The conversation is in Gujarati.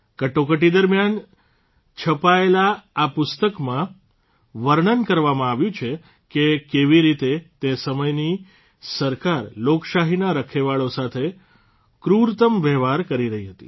કટોકટી દરમ્યાન છપાયેલા આ પુસ્તકમાં વર્ણન કરવામાં આવ્યું છે કે કેવી રીતે તે સમયની સરકાર લોકશાહીના રખેવાળો સાથે ક્રુરતમ વહેવાર કરી રહી હતી